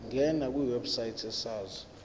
ngena kwiwebsite yesars